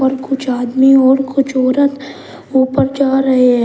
कुछ आदमी और कुछ औरत ऊपर जा रहे हैं।